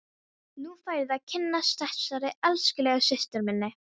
Nú færðu að kynnast þessari elskulegu systur minni!